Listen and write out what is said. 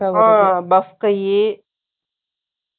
bus கை